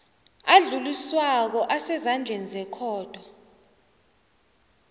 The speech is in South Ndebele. adluliswako asezandleni zekhotho